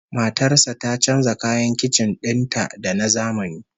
Matar sa ta canja kayan kicin din ta da na zamani